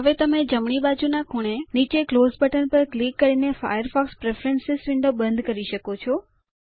હવે તમે ડાબી બાજુના ખૂણે નીચે ક્લોઝ બટન પર ક્લિક કરીને ફાયરફોક્સ પ્રેફરન્સ વિન્ડો બંધ કરી શકો છો